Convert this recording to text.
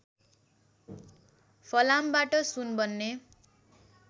फलामबाट सुन बन्ने